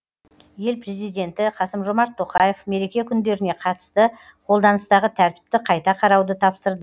ел президенті қасым жомарт тоқаев мереке күндеріне қатысты қолданыстағы тәртіпті қайта қарауды тапсырды